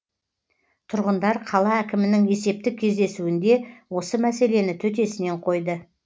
тұрғындар қала әкімнің есептік кездесуінде осы мәселені төтесінен қойды